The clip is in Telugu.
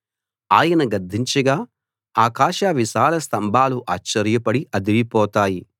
ఆయన గద్దించగా ఆకాశ విశాల స్తంభాలు ఆశ్చర్యపడి అదిరిపోతాయి